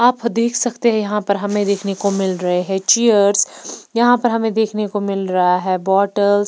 आप देख सकते हैं यहां पर हमें देखने को मिल रहे हैं चेयर्स यहां पर हमें देखने को मिल रहा है बॉटल्स --